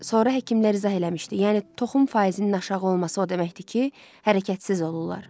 Sonra həkimlər izah eləmişdi, yəni toxum faizinin aşağı olması o deməkdir ki, hərəkətsiz olurlar.